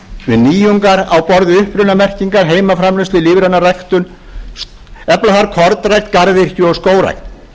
við nýjungar á borð við upprunamerkingar heimaframleiðslu lífræna ræktun efla þarf kornrækt garðyrkju og skógrækt